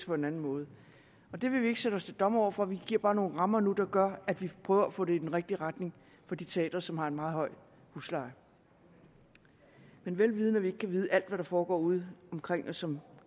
på en anden måde det vil vi ikke sætte os til dommer over for vi giver bare nogle rammer nu der gør at vi prøver at få det i den rigtige retning for de teatre som har en meget høj husleje vel vidende at vi ikke kan vide alt hvad der foregår ude omkring som